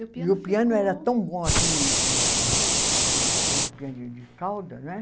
E o piano era tão bom assim esse piano de de cauda, né?